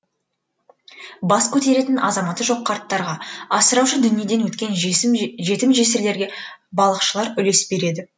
бас көтеретін азаматы жоқ қарттарға асыраушы дүниеден өткен жетім жесірлерге балықшылар үлес береді